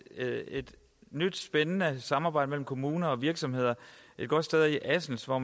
nyt spændende samarbejde mellem kommuner og virksomheder et godt sted er i assens hvor